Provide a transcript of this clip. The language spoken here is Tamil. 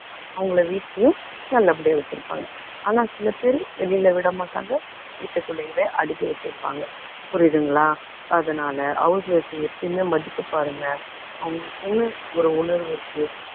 அவங்களை வீட்டுலேயும் நல்ல படியா வச்சுருப்பாங்க. ஆனா சில பேர் வெளியில விட மாட்டாங்க, வீட்டுக்குள்ளயவே அடைச்சு வச்சுருப்பாங்க. புரியுதுங்களா. அதனால house wife அ எப்பயுமே மதிக்க பாருங்க. அவங்களுக்கும் ஒரு உணர்வு இருக்கும்